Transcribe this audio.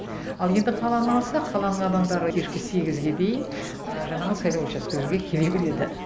ал енді қаланы алсақ қаланың адамдары кешкі сегізге дейін жаңағы сайлау учаскелеріне келе береді